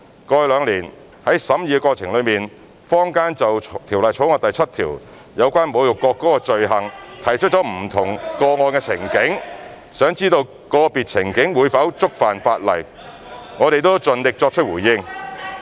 過去兩年，在審議的過程中，坊間就《條例草案》第7條有關侮辱國歌的罪行提出不同個案情境，想知道個別情境會否觸犯法例，我們都盡力作出回應。